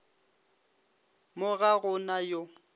mo ga go na yo